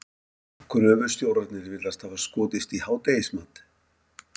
Gröfustjórarnir virðast hafa skotist í hádegismat.